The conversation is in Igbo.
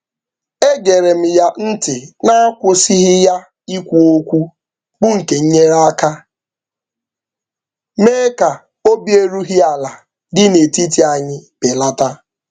E gere m ya ntị n'akwụsịghị ya ikwu okwu bụ nke nyere aka mee ka obi erughị ala dị n'etiti anyị belata.